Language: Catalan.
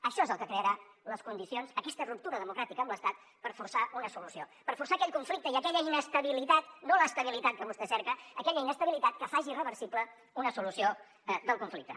això és el que crearà les condicions aquesta ruptura democràtica amb l’estat per forçar una solució per forçar aquell conflicte i aquella inestabilitat no l’estabilitat que vostè cerca que faci irreversible una solució del conflicte